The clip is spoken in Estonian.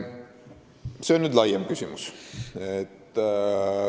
See on nüüd laiem küsimus.